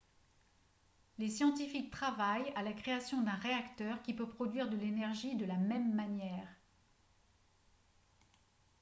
les scientifiques travaillent à la création d'un réacteur qui peut produire de l'énergie de la même manière